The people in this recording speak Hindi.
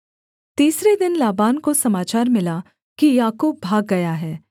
तीसरे दिन लाबान को समाचार मिला कि याकूब भाग गया है